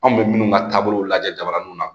Anw bɛ minnu ka taabolo lajɛ jabaraninw na